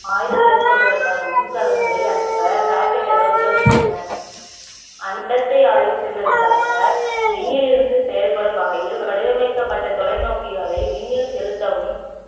ஆய்வு மேற்கொள்வதற்கான மின்கலன்களை அனுப்ப rocket டுகள் உதவுகின்றன அண்டத்தை ஆய்வு செய்வதற்காக விண்ணிலிருந்து செயல்படும் வகையில் வடிவமைக்கப்பட்ட தொலைநோக்கிகளை விண்ணில் செலுத்தவும்